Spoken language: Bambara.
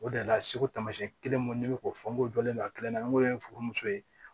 O de la segu taamasiyɛn kelen minnu ne bɛ k'o fɔ n ko jɔlen don a kelen na n ko ye furumuso ye